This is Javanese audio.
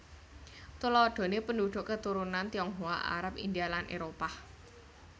Tuladhané penduduk keturunan Tionghoa Arab India lan Éropah